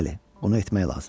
Bəli, bunu etmək lazımdır.